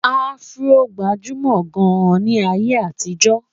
afro gbajumo gaan ní ayé àtijó